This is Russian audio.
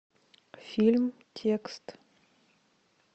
фильм текст